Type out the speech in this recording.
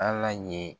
Ala ye